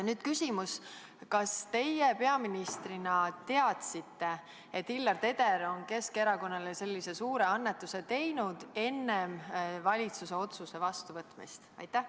Nüüd küsimus: kas teie peaministrina teadsite, et Hillar Teder on Keskerakonnale sellise suure annetuse teinud enne valitsuse otsuse vastuvõtmist?